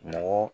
Mɔgɔ